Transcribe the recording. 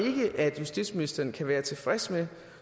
ikke at justitsministeren kan være tilfreds med